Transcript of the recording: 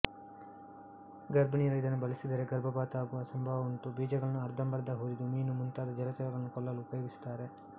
ಗರ್ಭಿಣಿಯರು ಇದನ್ನು ಬಳಸಿದರೆ ಗರ್ಭಪಾತವಾಗುವ ಸಂಭವ ಉಂಟು ಬೀಜಗಳನ್ನು ಅರ್ಧಂಬರ್ಧ ಹುರಿದು ಮೀನು ಮುಂತಾದ ಜಲಚರಗಳನ್ನು ಕೊಲ್ಲಲು ಉಪಯೋಗಿಸುತ್ತಾರೆ